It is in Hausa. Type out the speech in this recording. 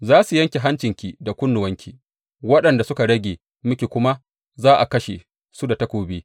Za su yanke hancinki da kunnuwanki, waɗanda suka rage miki kuma za a kashe su da takobi.